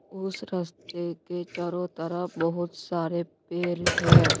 उस रस्ते के चारों तरफ बहुत सारे पेर है।